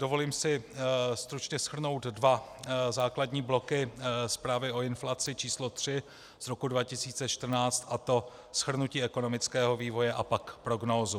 Dovolím si stručně shrnout dva základní bloky zprávy o inflaci číslo 3 z roku 2013, a to shrnutí ekonomického vývoje, a pak prognózu.